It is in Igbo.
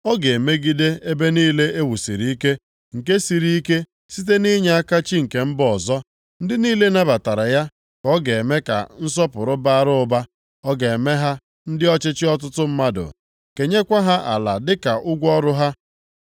Ọ ga-emegide ebe niile e wusiri ike, nke siri ike site nʼinyeaka chi nke mba ọzọ. Ndị niile nabatara ya ka ọ ga-eme ka nsọpụrụ bara ụba. Ọ ga-eme ha ndị ọchịchị ọtụtụ mmadụ, kenyekwa ha ala dịka ụgwọ ọrụ ha.